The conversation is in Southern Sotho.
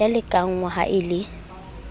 ya lekanngwa ha e le